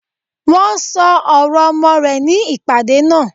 Wọ́n ṣọ ọ̀rọ̀ ọmọ rẹ̀ ní ìpàdé náà.